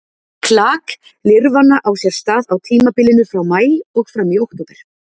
Klak lirfanna á sér stað á tímabilinu frá maí og fram í október.